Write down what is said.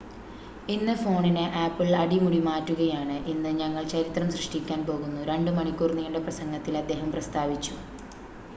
"""ഇന്ന് ഫോണിനെ ആപ്പിൾ അടിമുടി മാറ്റുകയാണ് ഇന്ന് ഞങ്ങൾ ചരിത്രം സൃഷ്ടിക്കാൻ പോകുന്നു" 2 മണിക്കൂർ നീണ്ട പ്രസംഗത്തിൽ അദ്ദേഹം പ്രസ്താവിച്ചു.